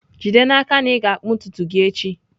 Jide n'aka na ị ga-akpụ ntutu gị echi!